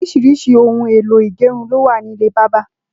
Óriṣiriṣi óoùn éló igẹrún ló wà nilé bàbà